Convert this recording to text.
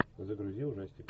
загрузи ужастик